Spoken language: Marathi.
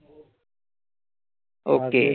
Okay.